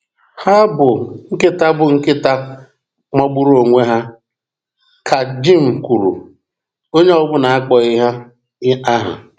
“Ha bụ nkịta bụ nkịta magburu onwe ha,” ka Jim kwuru, onye ọbụna akpọghị ha aha.